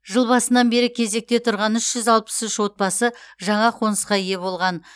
жыл басынан бері кезекте тұрған үш жүз алпыс үш отбасы жаңа қонысқа ие болған